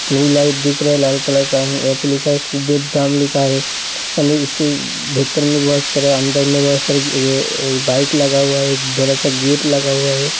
Twilight दिख रहा है लाल कलर का यहाँ पे लिखा है कुबेर धाम लिखा है यानि इसके भीतर में बहुत सारे अंदर में बहुत सारे ए बाइक लगा हुआ है एक बड़ा सा गेट लगा हुआ है।